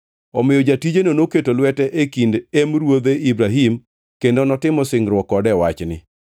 Omiyo jatijeno noketo lwete e kind em ruodhe Ibrahim kendo notimo singruok kode e wachni.